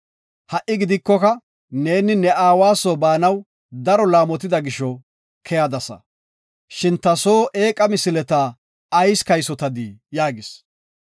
Ha7i neeni ne aawa soo baanaw daro laamotida gisho keyadasa. Shin ta soo eeqa misileta ayis kaysotadii?” yaagis.